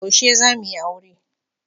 Yaushe za mu yi aure?